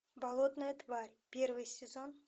болотная тварь первый сезон